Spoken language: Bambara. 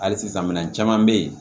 Hali sisan minɛn caman bɛ yen